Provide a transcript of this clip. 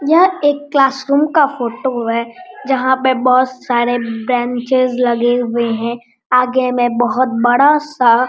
यह एक classroom का फोटो है जहां पर बहुत सारे ब्रेंचेस लगे हुए हैं आगे में बहुत बड़ा-सा --